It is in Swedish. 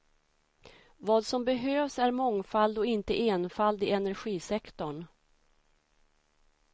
Vad som behövs är mångfald och inte enfald i energisektorn.